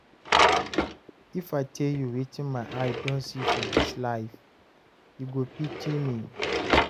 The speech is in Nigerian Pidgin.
if I tell you watin my eye don see for dis life, u go pity me